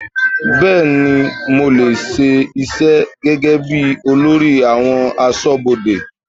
Bẹẹni, mo lè ṣe iṣẹ́ gẹ́gẹ́bí olórí àwọn aṣọ́bodè.